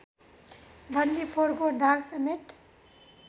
डन्डीफोरको दागसमेत